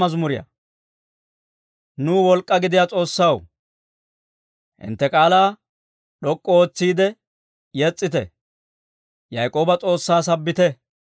Nuw wolk'k'aa gidiyaa S'oossaw, hintte k'aalaa d'ok'k'u ootsiide yes's'ite; Yaak'ooba S'oossaa sabbite.